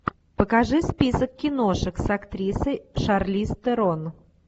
покажи список киношек с актрисой шарлиз терон